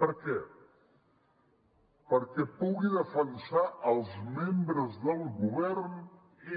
per què perquè pugui defensar els membres del govern